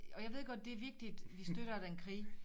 Og jeg ved det vigtigt vi støtter den krig